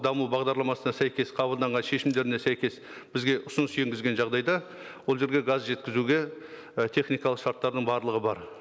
даму бағдарламасына сәйкес қабылданған шешімдеріне сәйкес бізге ұсыныс енгізген жағдайда ол жерге газ жеткізуге і техникалық шарттарының барлығы бар